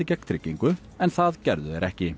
gegn tryggingu en það gerðu þeir ekki